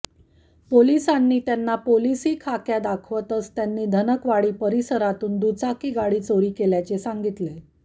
पोलीसांनी त्यांना पोलीसी खाक्या दाखवताच त्यांनी धनकवडी परिसरातून दुचाकी गाडी चोरी केल्याचे सांगितले